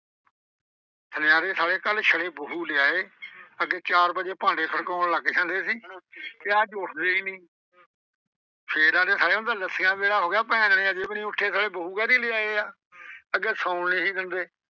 ਸੁਨਿਆਰੇ ਸਾਲੇ ਕੱਲ ਬਹੂ ਲਿਆਏ। ਅੱਗੇ ਚਾਰ ਵੱਜੇ ਭਾਂਡੇ ਖੜਕਾਉਣ ਲੱਗ ਜਾਂਦੇ ਸੀ ਤੇ ਅੱਜ ਉੱਠਦੇ ਈ ਨਈਂ ਫੇਰ ਆਂਹਦੇ ਸਾਲੇ ਹੁਣ ਤਾਂ ਲੱਸੀ ਦਾ ਵੇਲਾ ਹੋ ਗਏ ਭੈਣ ਦੇਣੀ ਅਜੇ ਵੀ ਨਈਂ ਉੱਠੇ ਸਾਲੇ ਬਹੂ ਕਾਹਦੀ ਲਿਆਏ ਆ। ਅੱਗੇ ਸੌਣ ਨੀ ਸੀ ਦਿੰਦੇ।